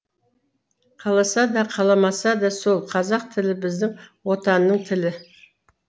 қаласа да қаламаса да сол қазақ тілі біздің отанның тілі